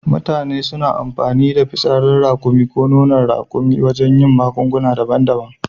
Mutane suna amfani da fitsarin raƙumi ko nonon raƙuma wajen yin magunguna daban daban